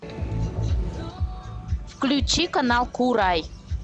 включи канал курай